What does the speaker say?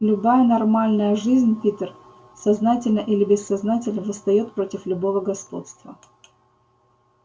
любая нормальная жизнь питер сознательно или бессознательно восстаёт против любого господства